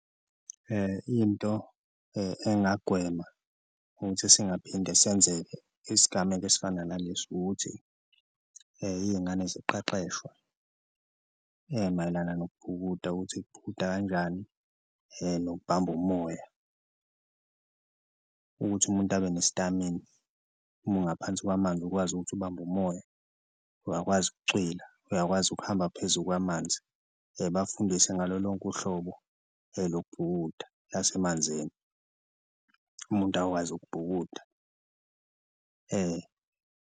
Into engagwemeka ukuthi singaphinde senzeke isigameko esifana nalesi ukuthi iy'ngane ziqeqeshwe mayelana nokubhukuda ukuthi kubhukuda kanjani nokubamba umoya, ukuthi umuntu abenesitamina uma ungaphansi kwamanzi ukwazi ukuthi ubambe umoya, uyakwazi ukucwila, uyakwazi ukuhamba phezulu kwamanzi, bafundise ngalo lonke uhlobo lokubhukuda lasemanzini umuntu akwazi ukubhukuda .